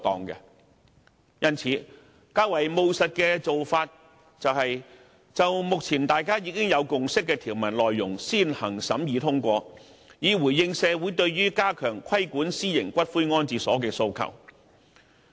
因此，較為務實的做法是，就目前大家已有共識的條文內容先行審議通過，以回應社會對於加強規管私營骨灰安置所的訴求。